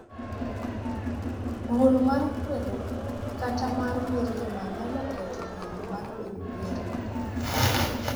Duol mar kwedo kata mar mirima nyalo ketho winjo mar bedo gi arita.